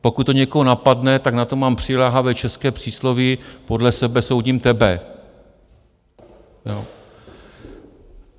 Pokud to někoho napadne, tak na to mám přiléhavé české přísloví: podle sebe soudím tebe.